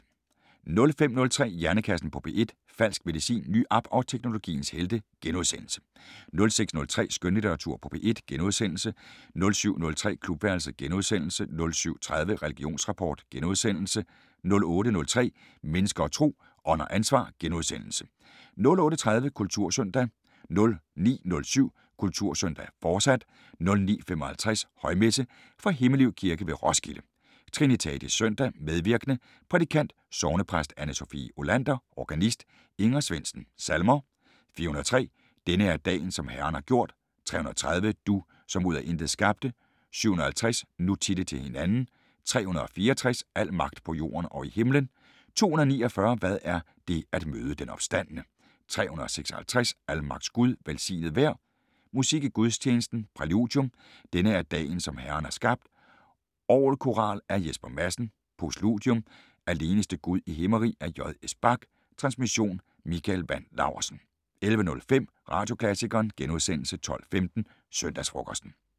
05:03: Hjernekassen på P1: Falsk medicin, ny app og teknologiens helte * 06:03: Skønlitteratur på P1 * 07:03: Klubværelset * 07:30: Religionsrapport * 08:03: Mennesker og Tro: Ånd og ansvar * 08:30: Kultursøndag 09:07: Kultursøndag, fortsat 09:55: Højmesse - Fra Himmelev Kirke ved Roskilde. Trinitatis søndag. Medvirkende: Prædikant: Sognepræst Anne-Sophie Olander. Organist: Inger Svendsen. Salmer: 403: "Denne er dagen som Herren har gjort". 330: " Du som ud af intet skabte". 750: "Nu titte til hinanden". 364: "Al magt på jorden og i himlen". 249: "Hvad er det at møde den opstandne". 356: "Almagts Gud, velsignet vær". Musik i gudstjenesten: Præludium: "Denne er dagen som herren har skabt", orgelkoral af Jesper Madsen. Postludium: "Aleneste Gud i himmerig" af J.S. Bach. Transmission: Mikael Wandt Laursen. 11:05: Radioklassikeren * 12:15: Søndagsfrokosten